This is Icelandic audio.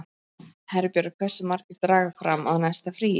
Herbjörg, hversu margir dagar fram að næsta fríi?